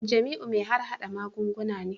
Jamiu mai harhada magunguna ne